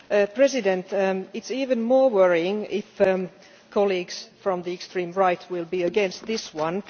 Mr President, it is even more worrying if colleagues from the extreme right are against this one.